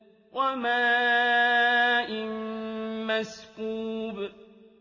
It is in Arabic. وَمَاءٍ مَّسْكُوبٍ